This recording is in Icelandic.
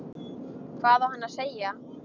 Hvað á hann að segja?